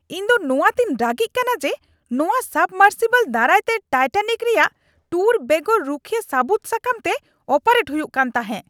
ᱤᱧᱫᱚ ᱱᱚᱣᱟᱛᱮᱧ ᱨᱟᱹᱜᱤᱜ ᱠᱟᱱᱟ ᱡᱮ, ᱱᱚᱶᱟ ᱥᱟᱵᱢᱟᱨᱥᱤᱵᱚᱞ ᱫᱟᱨᱟᱭ ᱛᱮ ᱴᱟᱭᱴᱮᱱᱤᱠ ᱨᱮᱭᱟᱜ ᱴᱩᱨ ᱵᱮᱜᱚᱨ ᱨᱩᱠᱷᱤᱭᱟᱹ ᱥᱟᱹᱵᱩᱫ ᱥᱟᱠᱟᱢᱛᱮ ᱚᱯᱟᱨᱮᱴ ᱦᱩᱭᱩᱜ ᱠᱟᱱ ᱛᱟᱦᱮᱸᱜ ᱾ (ᱦᱚᱲ ᱑)